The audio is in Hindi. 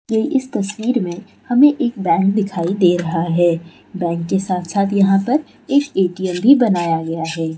ये इस तस्वीर में हमे एक बैंक दिखाई दे रहा है बैंक के साथ-साथ यहाँ पर एक ए.टी.एम. भी बनाया गया है।